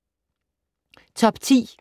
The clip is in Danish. Top 10